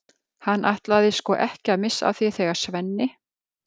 Hann ætlaði sko ekki að missa af því þegar Svenni